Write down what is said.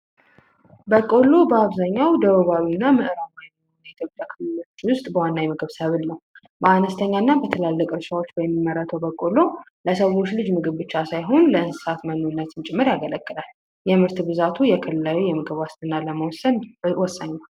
በቆሎ በአብዛኛው ደቡባዊ እና ምዕራባዊ ኢትዮጵያ ክልሎች ውስጥ በዋና የሚበቅል ሰብል ነው። በአነስተኛና በትላልቅ እርሻዎች በሚመረተው በቆሎ ለሰዎች ልጅ ምግብ ብቻ ሳይሆን፤ ለእንስሳትም መኖነትም ጭምር ያገለግላል። የምርት ብዛቱ የክልላዊ የምግብ ዋስትና ለመወሰን ወሳኝ ነው።